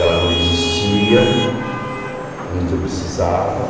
Ela não existia, mas eu precisava.